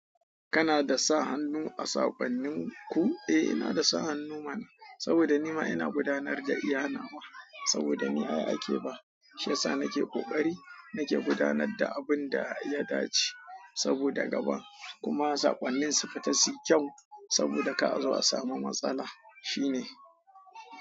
Kana da sa hannu a sakonninku? Eh, ina da sa hannu mana. Saboda ni ma ina gudanar da iya nawa saboda ni ai ake ba, shiyasa nake ƙoƙari nake gudanar da abun da ya dace. Saboda gaba kuma sakonnin su fita su yi kyau. Saboda kar a zo a samu matsala shine.